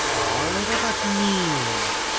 о это так мило